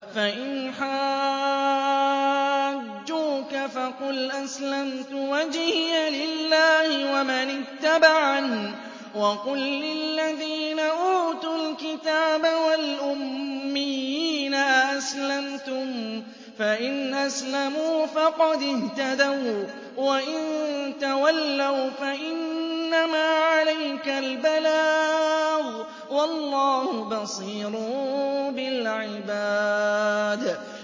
فَإِنْ حَاجُّوكَ فَقُلْ أَسْلَمْتُ وَجْهِيَ لِلَّهِ وَمَنِ اتَّبَعَنِ ۗ وَقُل لِّلَّذِينَ أُوتُوا الْكِتَابَ وَالْأُمِّيِّينَ أَأَسْلَمْتُمْ ۚ فَإِنْ أَسْلَمُوا فَقَدِ اهْتَدَوا ۖ وَّإِن تَوَلَّوْا فَإِنَّمَا عَلَيْكَ الْبَلَاغُ ۗ وَاللَّهُ بَصِيرٌ بِالْعِبَادِ